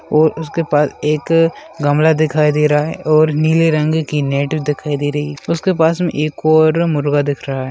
ओर उसके पास एक गमला दिखाई दे रहा है और नीले रंग की नेट दिखाई दे रही उसके पास में एक ओर मुर्गा दिख रहा है।